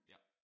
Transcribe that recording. Ja